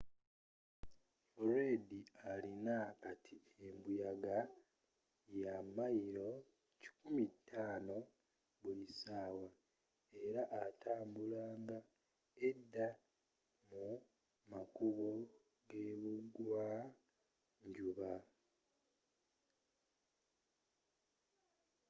fred alina kati embuyaga ya mayiro 105 buli sawa 165km/h era etambula nga edda mu mambuka gebugwa njuba